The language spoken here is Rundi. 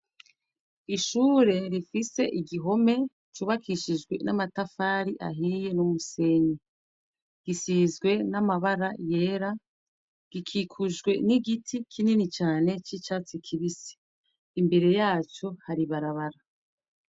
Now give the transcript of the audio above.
Ishure rifise igihome cubakishijwe n'amatafari ahiye n'umusenyi. Gisizwe n'amabara yera, gikikujwe n'igiti kinini cane c'icatsi kibisi, imbere yacu hari ibarabara.